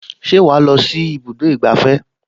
Ṣé wàá lọ sí ibùdó ìgbafẹ́?